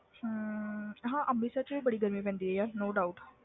ਹਾਂ ਹਾਂ ਅੰਮ੍ਰਿਤਸਰ 'ਚ ਵੀ ਬੜੀ ਗਰਮੀ ਪੈਂਦੀ ਹੈ ਯਾਰ no doubt